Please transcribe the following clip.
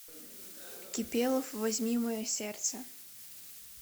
кипелов возьми мое сердце